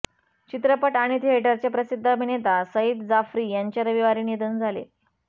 चित्रपट आणि थिएटरचे प्रसिद्ध अभिनेता सईद जाफ़री यांचे रविवारी निधन झाले